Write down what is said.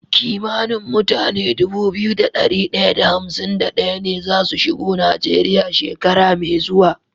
Kimanin mutane Dubu biyu da dari daya da hamsin da daya ne zasu shigo nigeria shekara me zuwa